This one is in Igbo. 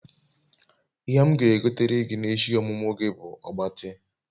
ihe m ga egotere gi n'eshi omumu gi bu ogbati